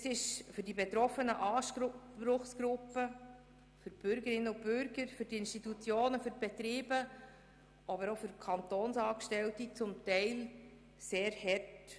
Das ist für die betroffenen Anspruchsgruppen, für Bürgerinnen und Bürger, für Institutionen und Betriebe, aber auch für Kantonsangestellte teilweise sehr hart.